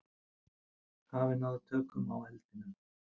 Hafa náð tökum á eldinum